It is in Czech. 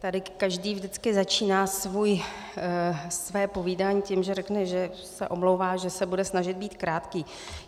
Tady každý vždycky začíná své povídání tím, že řekne, že se omlouvá, že se bude snažit být krátký.